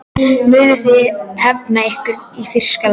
Munuð þið hefna ykkar í Þýskalandi?